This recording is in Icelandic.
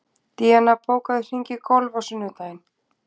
Díana, bókaðu hring í golf á sunnudaginn.